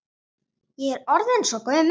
Ég er orðin svo gömul.